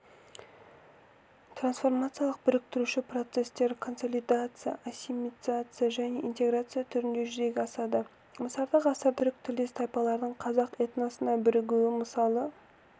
трансформациялық біріктіруші процестер консолидация ассимиляция және интеграция түрінде жүзеге асады мысалы ғасырда түрік тілдес тайпалардың қазақ этносына бірігуі мысалы